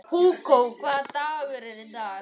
Hugó, hvaða dagur er í dag?